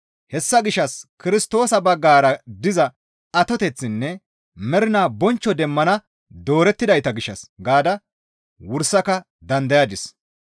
Hessa gishshas Kirstoosa baggara diza atoteththinne mernaa bonchcho demmana doorettidayta gishshas gaada wursaka dandayadis.